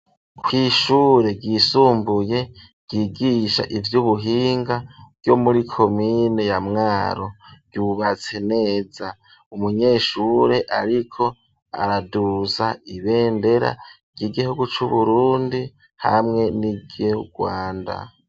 kw'ishure ryisumbuye ryigisha ry'ubuhinga ryo muri komine ya mwaro ryubatse neza umunyeshure ariko araduza ibendera ry'igihugu c'burundi hamwe n'iry'urwanda.